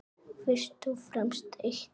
Fyrst og fremst eitt.